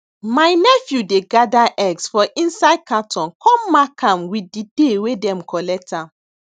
my nephew dey gather eggs for inside carton come mark am with di day wey them collect am